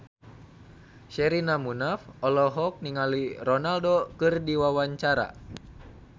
Sherina Munaf olohok ningali Ronaldo keur diwawancara